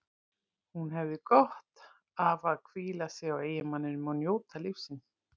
Hún hefði gott af að hvíla sig á eiginmanninum og njóta lífsins.